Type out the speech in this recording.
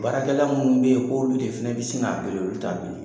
Baarakɛla minnu bɛ yen k' olu de fana bɛ sin k'a bili olu t'a bili.